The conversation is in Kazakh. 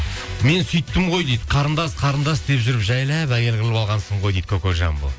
мен сөйттім ғой дейді қарындас қарындас деп жүріп жайлап әйел қылып алғансың ғой дейді кокожамбо